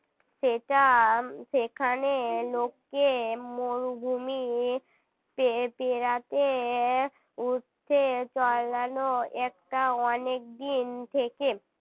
সেটা সেখানে লোকে মরুভূমি . রাতে উঠছে চলানো একটা অনেকদিন থেকে